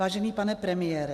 Vážený pane premiére.